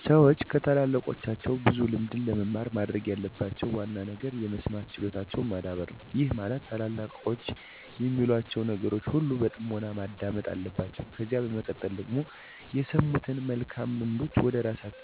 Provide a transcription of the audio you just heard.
ሠዎች ከታላላቆቻቸው ብዙ ልምድን ለመማር ማድረግ ያለባቸው ዋና ነገር የመስማት ችሎታቸውን ማዳበር ነው፤ ይህም ማለት ታላላቆች የሚሏቸውን ነገሮች ሁሉ በጥሞና ማዳመጥ አለባቸው። ከዚያ በመቀጠል ደግሞ የሰሙትን መልካም ልምዶች ወደራሳቸው ህይወት በማምጣት መተግበር አለባቸው። ለምሳሌ እኔ ከቤተሰቦቼ ጀምሮ ብዙ እድሜ ያስቆጠሩ ሰዎች ያላቸውን ልምድ ጨምረው ሲመክሩኝ በጥምና ከልቤ ሁኜ አዳምጥ እና ለዚህ ዘመን የሚሆኑ መልካም ተሞክሮዎች እና ልምዶችን በሂወቴ እለማመዳለሁ።